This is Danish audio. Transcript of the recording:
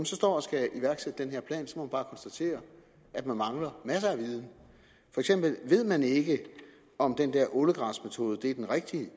så står og skal iværksætte den her plan må man bare konstatere at man mangler masser af viden for eksempel ved man ikke om den der ålegræsmetode er den rigtige